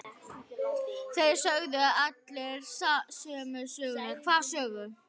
Þeir sögðu allir sömu söguna.